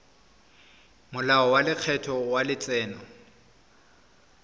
molao wa lekgetho wa letseno